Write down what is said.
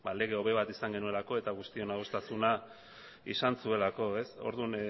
lege hobe bat eduki izan genuelako eta guztion adostasuna izan zuelako orduan